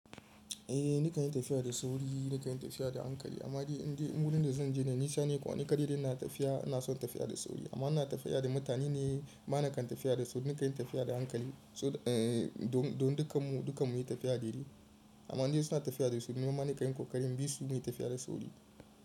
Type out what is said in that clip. Eh ni kan yi tafiya da sauri, ni kan yi tafiya da hankali amma de indai wurin da zan je mai nisa ne kuwa ni kaɗai ina tafiya ina son tafiya da sauri amma ina tafiya da mutane ne. Mane kan tafiya da su ni kan yi tafiya da hankali. So don dukanmu dukanmu yi tafiya daidai amma an ji suna tafiya da sauri. Ni ma na yi kokarin bi su muyi tafiya da sauri.